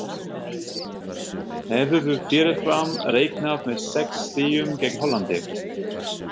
Hefðirðu fyrirfram reiknað með sex stigum gegn Hollandi?